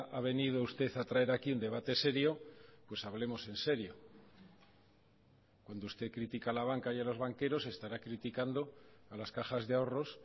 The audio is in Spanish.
ha venido usted a traer aquí un debate serio pues hablemos en serio cuando usted critica a la banca y a los banqueros estará criticando a las cajas de ahorros